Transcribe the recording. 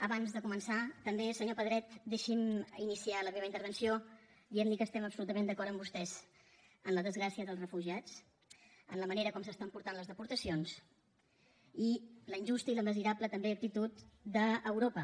abans de començar també senyor pedret deixi’m iniciar la meva intervenció dient li que estem absolutament d’acord amb vostès en la desgràcia dels refugiats en la manera com s’estan portant les deportacions i la injusta i la miserable també actitud d’europa